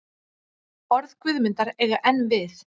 Orð Guðmundar eiga enn við.